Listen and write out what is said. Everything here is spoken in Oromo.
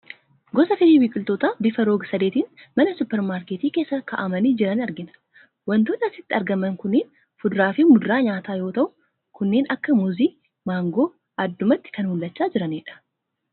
Gosa firii biqiltootaa bifa rog-sadeetiin mana suuparmaarketii keessa kaa'amanii jiranii argina. Waantonni asitti argaman kunneen fuduraa fi muduraa nyaataa yoo ta'u, kanneen akka muuzii fi maangoo addumatti kan mul'achaa jiranidha.